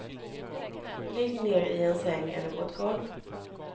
Ligg ner i en säng eller på ett golv.